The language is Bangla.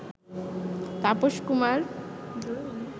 তাপস কুমার